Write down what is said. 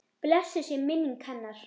Blessuð sé minning hennar!